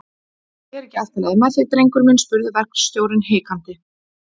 Er ekki allt í lagi með þig, drengur minn? spurði verkstjórinn hikandi.